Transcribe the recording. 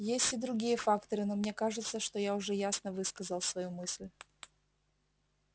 есть и другие факторы но мне кажется что я уже ясно высказал свою мысль